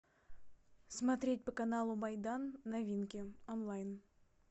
смотреть по каналу майдан новинки онлайн